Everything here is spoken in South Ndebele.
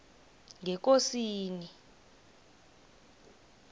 ngekosini